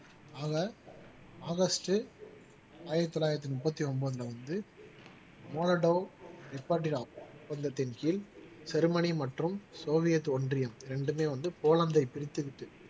ஆக ஆகஸ்ட் ஆயிரத்தி தொள்ளாயிரத்தி முப்பத்தி ஒன்பதுல வந்து மொரட்டா நிப்பாட்டினா ஒப்பந்தத்தின் கீழ் ஜெர்மனி மற்றும் சோவியத் ஒன்றியம் இரண்டுமே வந்து போலந்தை பிரித்து விட்டு